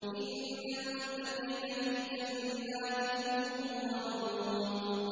إِنَّ الْمُتَّقِينَ فِي جَنَّاتٍ وَعُيُونٍ